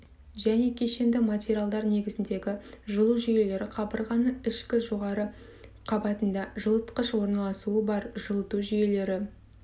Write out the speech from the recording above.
және кешенді материалдар негізіндегі жылы жүйелері қабырғаның ішкі жоғары қабатында жылытқыш орналасуы бар жылыту жүйелері